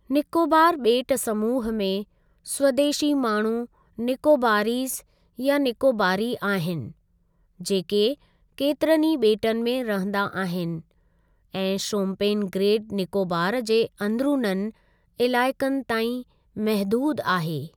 निकोबार ॿेट समूह में, स्वदेशी माण्हू निकोबारीज़ या निकोबारी आहिनि, जेके केतिरनि ई ॿेटनि में रहंदा आहिनि ऐं शोम्पेन ग्रेट निकोबार जे अंदिरुननि इलाइकनि ताईं महदूद आहे।